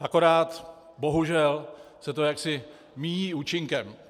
Akorát, bohužel, se to jaksi míjí účinkem.